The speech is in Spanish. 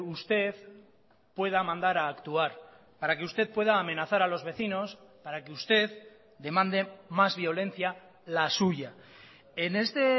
usted pueda mandar a actuar para que usted pueda amenazar a los vecinos para que usted demande más violencia la suya en este